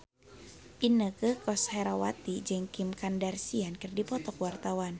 Inneke Koesherawati jeung Kim Kardashian keur dipoto ku wartawan